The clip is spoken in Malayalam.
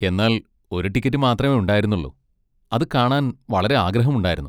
എന്നാൽ ഒരു ടിക്കറ്റ് മാത്രമേ ഉണ്ടായിരുന്നുള്ളൂ, അത് കാണാൻ വളരെ ആഗ്രഹമുണ്ടായിരുന്നു.